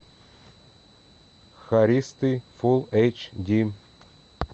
хористы фулл эйч ди